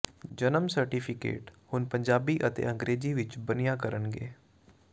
ਜਨਮ ਸਰਟੀਫਿਕੇਟ ਹੁਣ ਪੰਜਾਬੀ ਤੇ ਅੰਗਰੇਜ਼ੀ ਵਿਚ ਬਣਿਆ ਕਰਨਗੇ